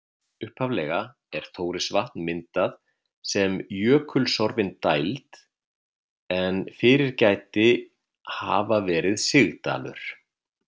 Upphaflega er Þórisvatn myndað sem jökulsorfin dæld en fyrir gæti hafa verið sigdalur.